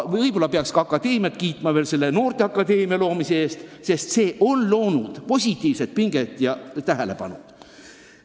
Võib-olla peaks ka akadeemiat kiitma noorteakadeemia loomise eest, sest see on tekitanud positiivset pinget ja tähelepanu toonud.